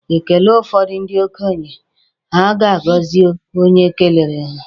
E kele ụfọdụ ndị okenye, ha a gọzie onye kelere ha.